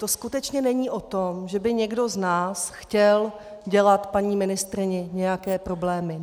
To skutečně není o tom, že by někdo z nás chtěl dělat paní ministryni nějaké problémy.